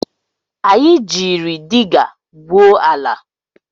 Anyị jiiri diga gwuo ala